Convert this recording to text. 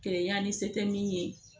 Kereya ni se tɛ min ye